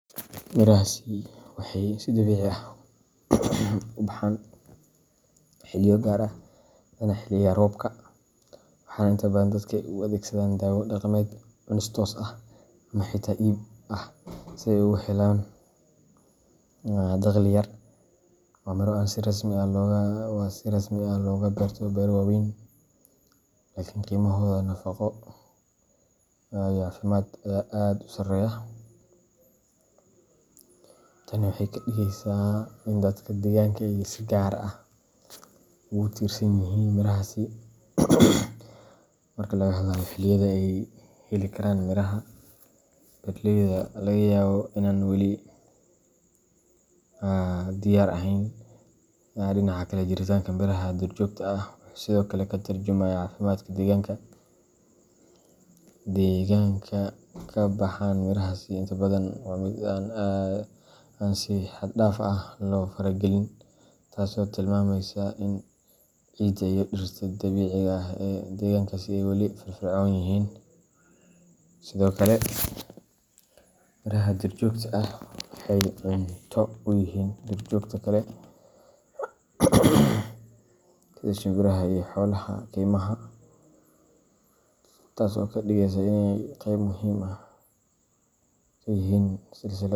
Mirahaasi waxay si dabiici ah u baxaan xilliyo gaar ah, badanaa xilliga roobka, waxaana inta badan dadku ay u adeegsadaan daawo dhaqameed, cunis toos ah, ama xitaa iib ah si ay ugu helaan dakhli yar. Waa miro aan si rasmi ah looga beerto beero waaweyn. , laakiin qiimahooda nafaqo iyo caafimaad ayaa aad u sarreeya. Tani waxay ka dhigaysaa in dadka deegaanka ay si gaar ah ugu tiirsan yihiin mirahaasi marka laga hadlayo xilliyada ay heli karaan miraha beeraleyda laga yaabo inaan weli diyaar ahayn. Dhinaca kale, jiritaanka miraha duurjoogta ah wuxuu sidoo kale ka tarjumayaa caafimaadka deegaanka. Deegaanka ay ka baxaan mirahaasi inta badan waa mid aan si xad-dhaaf ah loo faragelin, taas oo tilmaamaysa in ciidda iyo dhirta dabiiciga ah ee deegaankaasi ay weli firfircoon yihiin. Sidoo kale, miraha duurjoogta ah waxay cunto u yihiin duurjoogta kale sida shimbiraha iyo xoolaha keymaha, taas oo ka dhigaysa inay qeyb muhiim ah ka yihiin silsiladda.